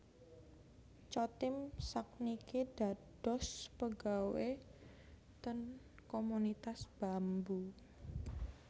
Chotim sak niki dados pegawe ten Komunitas Bambu